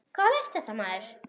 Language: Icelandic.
Hvað er þetta maður?